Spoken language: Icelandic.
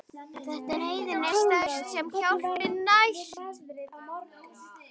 En þegar neyðin er stærst er hjálpin næst.